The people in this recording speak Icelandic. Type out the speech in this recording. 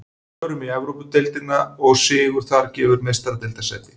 Förum í Evrópudeildina og sigur þar gefur Meistaradeildarsæti.